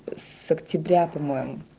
с октября по-моему